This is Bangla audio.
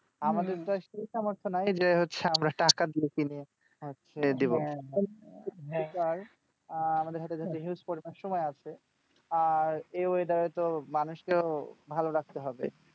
আমাদের তো আর সেই সামর্থ্য নাই যে হচ্ছে আমরা টাকা দিয়ে কিনে দেব , আহ আমাদের হতে যেহেতু সময় আছে আর এই weather এ তো মানুষকেও ভালো রাখতে হবে।